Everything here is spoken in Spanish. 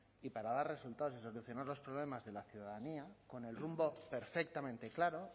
y para dar resultados y seleccionar los problemas de la ciudadanía con el rumbo perfectamente claro